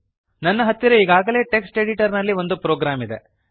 ನನ್ನ ಹತ್ತಿರ ಈಗಾಗಲೇ ಟೆಕ್ಸ್ಟ್ ಎಡಿಟರ್ ನಲ್ಲಿ ಒಂದು ಪ್ರೋಗ್ರಾಮ್ ಇದೆ